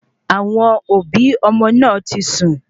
Àwọn òbí ọmọ náà tí sun